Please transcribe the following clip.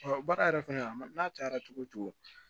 baara yɛrɛ fɛnɛ a ma n'a cayara cogo cogo